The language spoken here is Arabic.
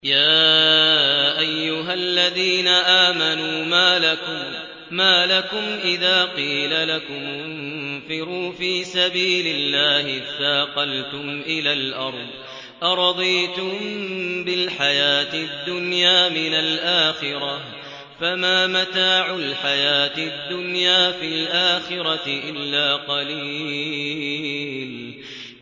يَا أَيُّهَا الَّذِينَ آمَنُوا مَا لَكُمْ إِذَا قِيلَ لَكُمُ انفِرُوا فِي سَبِيلِ اللَّهِ اثَّاقَلْتُمْ إِلَى الْأَرْضِ ۚ أَرَضِيتُم بِالْحَيَاةِ الدُّنْيَا مِنَ الْآخِرَةِ ۚ فَمَا مَتَاعُ الْحَيَاةِ الدُّنْيَا فِي الْآخِرَةِ إِلَّا قَلِيلٌ